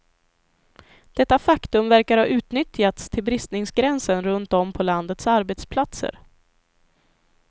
Detta faktum verkar ha utnyttjats till bristningsgränsen runt om på landets arbetsplatser.